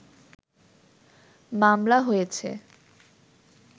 মামলা হয়েছে